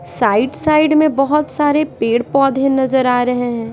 Side side में बहुत सारे पेड़-पौधे नजर आ रहे हैं।